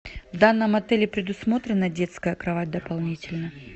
в данном отеле предусмотрена детская кровать дополнительно